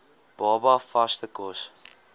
baba vaste kos